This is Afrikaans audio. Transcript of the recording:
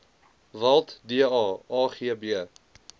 walt da agb